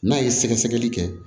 N'a ye sɛgɛsɛgɛli kɛ